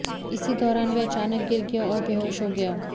इसी दौरान वह अचानक गिर गया और बेहोश हो गया